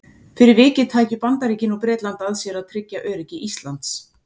Fyrir vikið tækju Bandaríkin og Bretland að sér að tryggja öryggi Íslands.